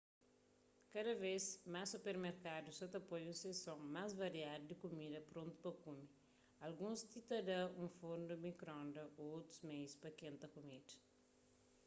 kada bês más supermerkadus sa ta poi un sekson más variadu di kumida prontu pa kume alguns ti ta da un fornu di mikronda ô otus meius pa kenta kumida